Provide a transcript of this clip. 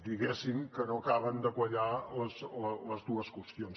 diguéssim que no acaben de quallar les dues qüestions